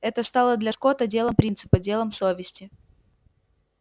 это стало для скотта делом принципа делом совести